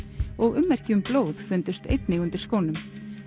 og ummerki um blóð fundust einnig undir skónum